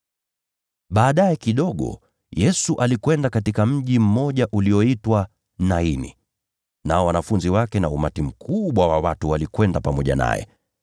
Baadaye kidogo, Yesu alikwenda katika mji mmoja ulioitwa Naini. Nao wanafunzi wake na umati mkubwa wa watu walikwenda pamoja naye.